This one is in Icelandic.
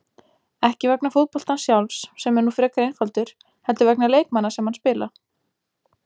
Ekki vegna fótboltans sjálfs, sem er nú frekar einfaldur, heldur vegna leikmanna sem hann spila.